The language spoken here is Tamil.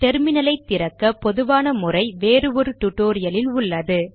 டெர்மினல் ஐ திறக்க பொதுவான முறை வேறு ஒரு டுடோரியலில் உள்ளது